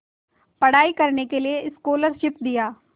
पढ़ाई करने के लिए स्कॉलरशिप दिया